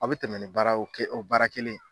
A bi tɛmɛ ni baara o kɛ o baara kelen ye